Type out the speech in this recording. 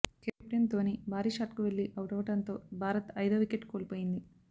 captain Dhoni భారీ షాట్కు వెళ్లి అవుటవడంతో భారత్ ఐదో వికెట్ కోల్పోయింది